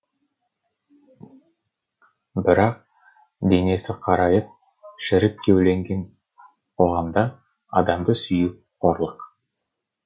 бірақ денесі қарайып шірік кеуленген қоғамда адамды сүю қорлық